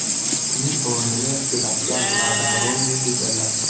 Uning o‘rnini Sebastyan Lazaroni egalladi.